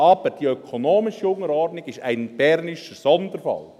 Aber die ökonomische Unterordnung ist ein bernischer Sonderfall.